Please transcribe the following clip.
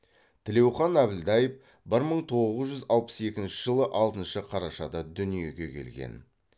тілеухан әбілдаев бір мың тоғыз жүз алпыс екінші жылы алтыншы қарашада дүниеге келген